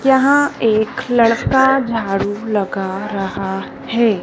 यहां एक लड़का झाड़ू लगा रहा है।